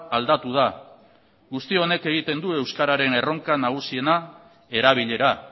aldatu da guzti honek egiten du euskararen erronka nagusiena erabilera